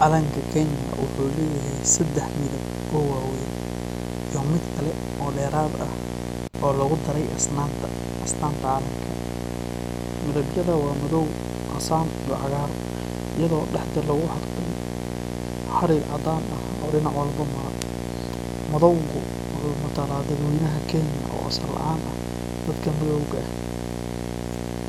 Calanka Kenya wuxuu leeyahay saddex midab oo waaweyn iyo mid kale oo dheeraad ah oo lagu daray astaanta calanka. Midabyada waa madow, casaan, iyo cagaar, iyadoo dhexda lagu xardhay xarig caddaan ah oo dhinac walba mara. Madowgu wuxuu matalaa dadweynaha Kenya oo asal ahaan ah dadka madowga ah,